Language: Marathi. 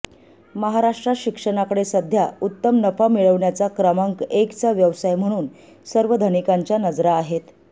महाराष्ट्रात शिक्षणाकडे सध्या उत्तम नफा मिळवण्याचा क्रमांक एकचा व्यवसाय म्हणून सर्व धनिकांच्या नजरा आहेत